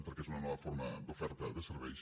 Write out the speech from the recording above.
perquè és una nova forma d’oferta de serveis